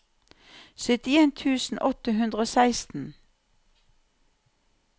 syttien tusen åtte hundre og seksten